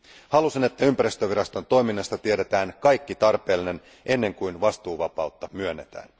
Halusin, että ympäristöviraston toiminnasta tiedetään kaikki tarpeellinen, ennen kuin vastuuvapaus myönnetään.